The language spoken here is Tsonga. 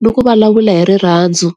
ni ku vulavula hi rirhandzu.